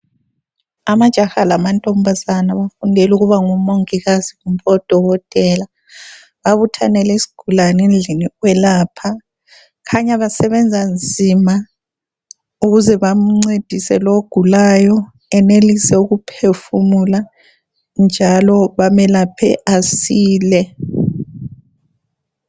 Amajaha lamantombazana bafundela ukuba ngomongikazi kumbe odokotela . Babuthanele isigulane endlini yokwelapha. Kukhanya basebenza nzima ukuze bamncedise lowo ogulayo enelise ukuphefumula njalo bamelaphe asile.